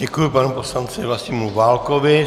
Děkuji panu poslanci Vlastimilu Válkovi.